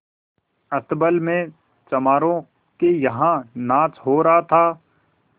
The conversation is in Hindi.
अस्तबल में चमारों के यहाँ नाच हो रहा था